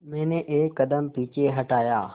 मैंने एक कदम पीछे हटाया